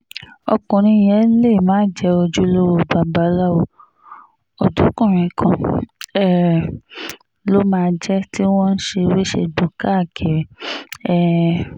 ọkùnrin yẹn lè má jẹ́ ojúlówó babaláwo ọ̀dọ́kùnrin kan um ló máa jẹ́ tí wọ́n ń ṣèwé-segbò káàkiri um